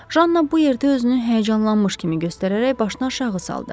Janna bu yerdə özünü həyəcanlanmış kimi göstərərək başın aşağı saldı.